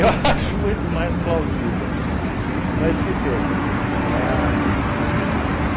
(flaa rindo) acho muito mais plausível, mas que seja. Ahn